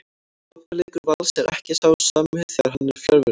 Sóknarleikur Vals er ekki sá sami þegar hann er fjarverandi.